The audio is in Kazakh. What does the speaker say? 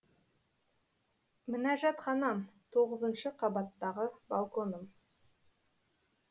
мінәжатханам тоғызыншы қабаттағы балконым